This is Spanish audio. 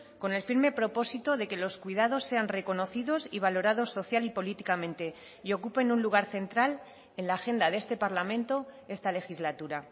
con el firme propósito de que los cuidados sean reconocidos y valorados social y políticamente y ocupen un lugar central en la agenda de este parlamento esta legislatura